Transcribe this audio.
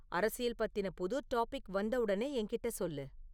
அரசியல் பத்தின புது டாபிக் வந்த உடனே என்கிட்ட சொல்லு